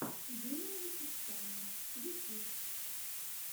юлия вечерская ютьюб